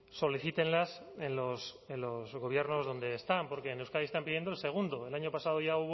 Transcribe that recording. solicítenlos en los gobiernos donde estaban porque en euskadi están pidiendo el segundo el año pasado ya